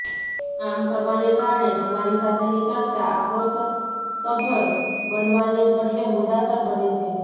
આમ કરવાને કારણે તમારી સાથેની ચર્ચા આક્રોશસભર બનવાને બદલે મુદ્દાસર બને છે